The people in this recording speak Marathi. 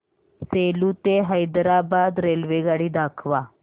सेलू ते हैदराबाद रेल्वेगाडी दाखवा